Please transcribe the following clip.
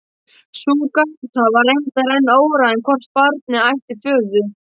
Sú gáta var reyndar enn óráðin hvort barnið ætti föður.